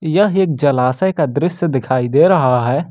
यह एक जलाशय का दृश्य दिखाई दे रहा है।